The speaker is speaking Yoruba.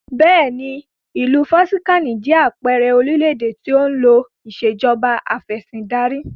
Bẹ́ẹ̀ni, ìlú Vatican jẹ àpẹẹrẹ orílédé tí ó ń lò ìsèjọba afẹ̀sindarí